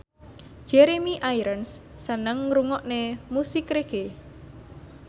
Jeremy Irons seneng ngrungokne musik reggae